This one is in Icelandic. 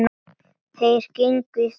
Þeir gengu í þögn.